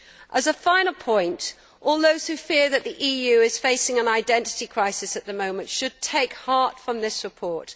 As a final point, all those who fear that the EU is facing an identity crisis at the moment should take heart from this report.